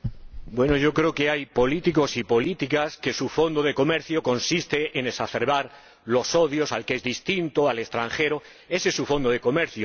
Bueno, yo creo que hay políticos y políticas cuyo fondo de comercio consiste en exacerbar los odios al que es distinto, al extranjero ese es su fondo de comercio.